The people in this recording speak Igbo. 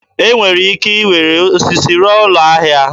E nwere ike iwere osisi rụọ ụlọ ahịa.